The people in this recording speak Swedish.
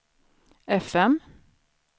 fm